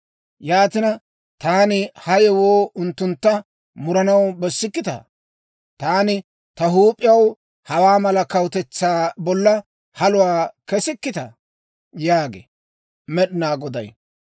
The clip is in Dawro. Yaatina, taani ha yewoo unttuntta muranaw bessikkitaa? Taani ta huup'iyaw hawaa mala kawutetsaa bolla haluwaa kesikkitaa?» yaagee Med'inaa Goday.